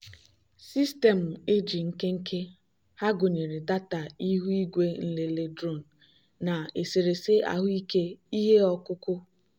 sistemu ag nkenke ha gụnyere data ihu igwe nlele drone na eserese ahụike ihe ọkụkụ.